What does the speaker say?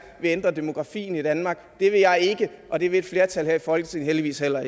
vil ændre demografien i danmark det vil jeg ikke og det vil et flertal her i folketinget heldigvis heller